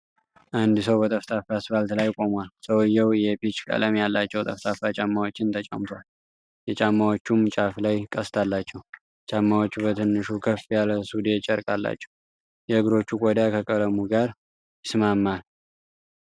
አንድ ሰው በጠፍጣፋ አስፋልት ላይ ቆሟል። ሰውየው የፒች ቀለም ያላቸው ጠፍጣፋ ጫማዎችን ተጫምቷል፣ የጫማዎቹም ጫፍ ላይ ቀስት አላቸው። ጫማዎቹ በትንሹ ከፍ ያለ ሱዴ ጨርቅ አላቸው። የእግሮቹ ቆዳ ከቀለሙ ጋር ይስማማል።